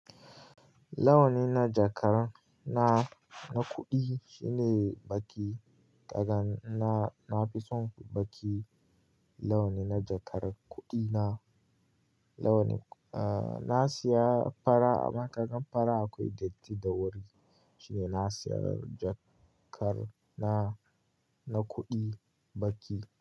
Launi na jakar na, na kuɗi shine baƙi. Daga na, na fi son baƙi launi na jakar kuɗi na. Launi, ah, na siya fara amma kagan fara akwai datti da wuri shine na siya jakar na, na kuɗi baƙi.